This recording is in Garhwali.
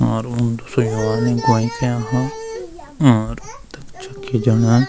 और उन्दु सोय तख जखि जाणा।